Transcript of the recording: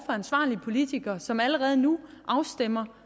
ansvarlige politikere som allerede nu afstemmer